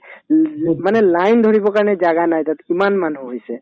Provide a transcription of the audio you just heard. উম, যত মানে line ধৰিবৰ কাৰণে জাগা নাই তাত ইমান মানুহ হৈছে